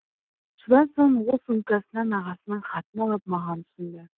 содан соң ол сумкасынан ағасының хатын алып маған ұсынды